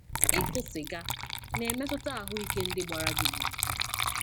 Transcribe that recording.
Ịkụ sịga, na-emetụta ahụike ndị gbara gị gburugburu.